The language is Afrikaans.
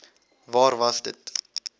waar was dit